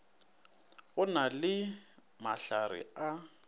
go na le mahlare a